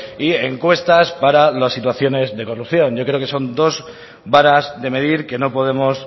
y encuestas para las situaciones de corrupción yo creo que son dos varas de medir que no podemos